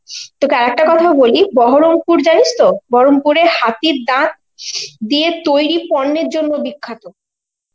তোকে আর একটা কথাও বলি, বহরমপুর জানিস তো? বহরমপুরে হাতির দাঁত দিয়ে তৈরি পর্নের জন্য বিখ্যাত.